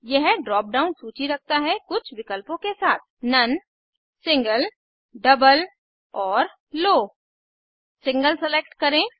यह drop down सूची रखता है कुछ विकल्पों के साथ none none single single double double और लो लो सिंगल सेलेक्ट करें